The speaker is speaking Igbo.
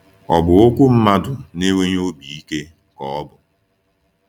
Ọ̀ bụ okwu mmadụ na-enweghị obi ike ka ọ ọ bụ?